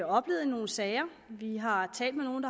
oplevet nogle sager vi har talt med nogle